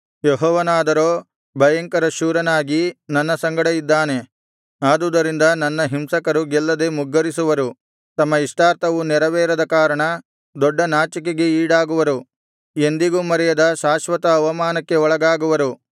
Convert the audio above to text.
ಯೆಹೋವನಾದರೋ ಭಯಂಕರಶೂರನಾಗಿ ನನ್ನ ಸಂಗಡ ಇದ್ದಾನೆ ಆದುದರಿಂದ ನನ್ನ ಹಿಂಸಕರು ಗೆಲ್ಲದೆ ಮುಗ್ಗರಿಸುವರು ತಮ್ಮ ಇಷ್ಟಾರ್ಥವು ನೆರವೇರದ ಕಾರಣ ದೊಡ್ಡ ನಾಚಿಕೆಗೆ ಈಡಾಗುವರು ಎಂದಿಗೂ ಮರೆಯದ ಶಾಶ್ವತ ಅವಮಾನಕ್ಕೆ ಒಳಗಾಗುವರು